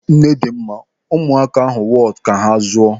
Nnedịmma, ụmụaka ahụ wọtu ka ha zụọ.